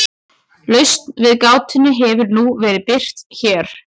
lausn við gátunni hefur nú verið birt hér